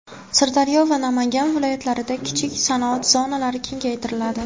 Sirdaryo va Namangan viloyatlarida kichik sanoat zonalari kengaytiriladi.